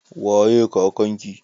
Waye kakan ki?